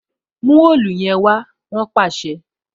Mu òòlù yẹn wá! Wọn pàṣẹ.